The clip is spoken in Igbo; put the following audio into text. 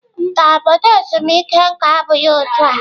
Mba, obodo ezumike nka abụghị otu a.